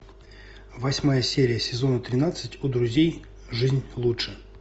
восьмая серия сезона тринадцать у друзей жизнь лучше